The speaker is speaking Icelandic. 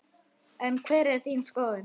En hver er þín skoðun?